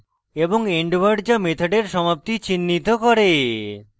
এবং end word যা মেথডের সমাপ্তি চিন্হিত করে